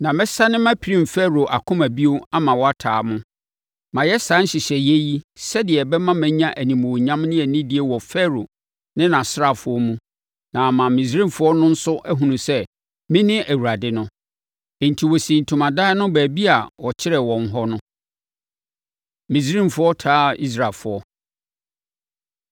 Na mɛsane mapirim Farao akoma bio ama wataa mo. Mayɛ saa nhyehyɛeɛ yi sɛdeɛ ɛbɛma manya animuonyam ne anidie wɔ Farao ne nʼasraafoɔ mu na ama Misraimfoɔ no nso ahunu sɛ, mene Awurade no.” Enti, wɔsii ntomadan wɔ baabi a wɔkyerɛɛ wɔn hɔ no. Misraimfoɔ Taa Israelfoɔ